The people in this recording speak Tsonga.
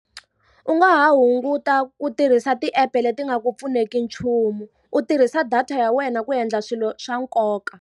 U nga hunguta ku tirhisa ti-app-e leti nga ku pfuneki nchumu, u tirhisa data ya wena ku endla swilo swa nkoka.